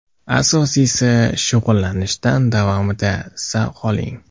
Asosiysi, shug‘ullanishdan davomida zavq oling.